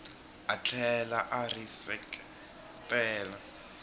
a tlhela a ri seketela